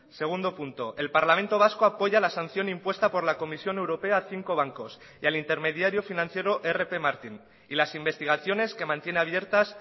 segundo punto el parlamento vasco apoya la sanción impuesta por la comisión europea a cinco bancos y al intermediario financiero rp martin y las investigaciones que mantiene abiertas